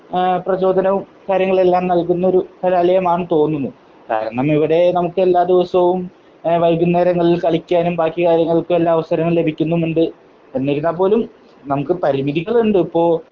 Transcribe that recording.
പ്രചോദനവും കാര്യങ്ങളും എല്ലാം നൽകുന്നൊരു കലാലയമാണെന്ന് തോന്നുന്നു. കാരണം ഇവിടെ നമുക്ക് എല്ലാ ദിവസവും വൈകുന്നേരങ്ങളിൽ കളിക്കുവാനും ബാക്കി കാര്യങ്ങൾക്കുമെല്ലാം അവസരങ്ങൾ ലഭിക്കുന്നുമുണ്ട്. എന്നിരുന്നാൽ പോലും നമുക്ക് പരിമിതികൾ ഉണ്ട്. ഇപ്പോ